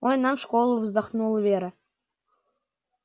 ой нам в школу вздохнула вера